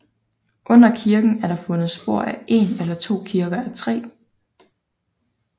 Under kirken er der fundet spor af en eller to kirker af træ